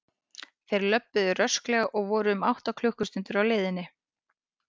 Þeir löbbuðu rösklega og voru um átta klukkustundir á leiðinni.